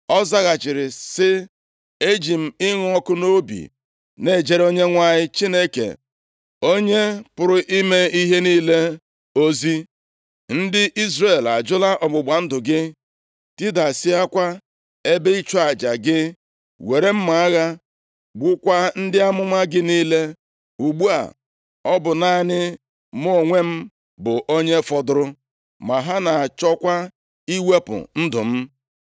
Ọ zaghachiri sị, “Eji m ịnụ ọkụ nʼobi na-ejere Onyenwe anyị Chineke Onye pụrụ ime ihe niile ozi. Ndị Izrel ajụla ọgbụgba ndụ gị, tidasịakwa ebe ịchụ aja gị, were mma agha gbukwaa ndị amụma gị niile, ugbu a ọ bụ naanị mụ onwe m bụ onye fọdụrụ, ma ha na-achọkwa iwepụ ndụ m.”